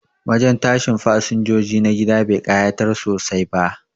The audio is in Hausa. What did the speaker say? Wajen tashin fasinjoji na gida ba kayatar sosai ba